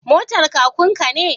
Motar kakun ka ne?